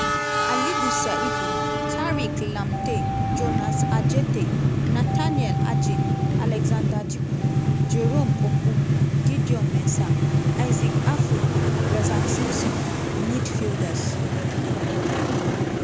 alidu seidu tariq lamptey jonas adjetey nathaniel adjei alexander djiku jerome opoku gideon mensah isaac afful razak simpson midfielders-